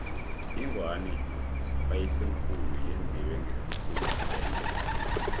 ingwani kayisemkhulu yenziwe ngesikhumba sengwe